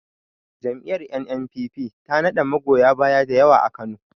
Jam'iyar N.N.P.P ta na da magoya baya dayawa a Kano